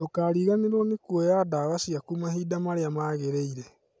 Ndũkariganĩrwo nĩ kuoya ndawa ciaku mahinda marĩa magĩrĩire